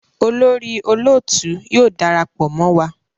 olórí olóòtú yóò darapọ mọ wá.